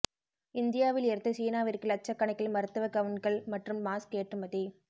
இந்தியாவில் இருந்து சீனாவிற்கு லட்சக்கணக்கில் மருத்துவ கவுன்கள் மற்றும் மாஸ்க் ஏற்றுமதி